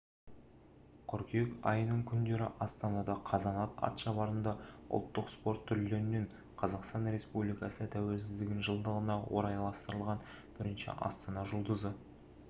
қыркүйек айының күндері астанада қазанат атшабарында ұлттық спорт түрлеріненқазақстан республикасы тәуелсіздігінің жылдығына орайластырылған бірінші астана жұлдызы